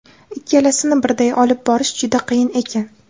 Ikkalasini birday olib borish juda qiyin ekan.